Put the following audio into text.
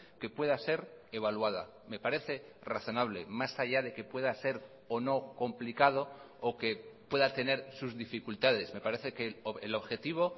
que pueda ser evaluada me parece razonable más allá de que pueda ser o no complicado o que pueda tener sus dificultades me parece que el objetivo